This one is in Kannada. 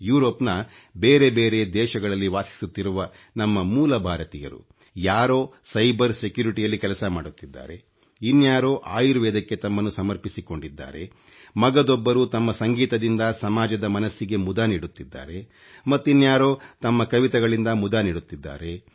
ಯುರೋಪ್ ನ ಬೇರೆ ಬೇರೆ ದೇಶಗಳಲ್ಲಿ ವಾಸಿಸುತ್ತಿರುವ ನಮ್ಮ ಮೂಲ ಭಾರತೀಯರು ಯಾರೋ ಸೈಬರ್ ಸೆಕ್ಯೂರಿಟಿ ಯಲ್ಲಿ ಕೆಲಸ ಮಾಡುತ್ತಿದ್ದಾರೆ ಇನ್ಯಾರೋ ಆಯುರ್ವೇದಕ್ಕೆ ತಮ್ಮನ್ನು ಸಮರ್ಪಿಸಿಕೊಂಡಿದ್ದಾರೆ ಮಗದೊಬ್ಬರು ತಮ್ಮ ಸಂಗೀತದಿಂದ ಸಮಾಜದ ಮನಸ್ಸಿಗೆ ಮುದ ನೀಡುತ್ತಿದ್ದಾರೆ ಮತ್ತಿನ್ಯಾರೋ ತಮ್ಮ ಕವಿತೆಗಳಿಂದ ಮುದ ನೀಡುತ್ತಿದ್ದಾರೆ